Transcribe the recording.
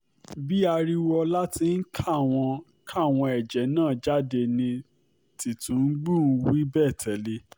bí ariwoọlá tí ń ka àwọn ka àwọn ẹ̀jẹ́ náà jáde ni tìtúngbù ń wí bẹ́ẹ̀ tẹ̀lé